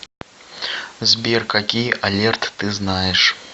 сбер какие алерт ты знаешь